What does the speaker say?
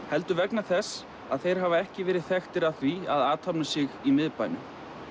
heldur vegna þess að þeir hafa ekki verið þekktir af því að athafna sig í miðbænum